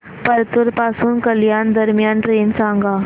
परतूर पासून कल्याण दरम्यान ट्रेन सांगा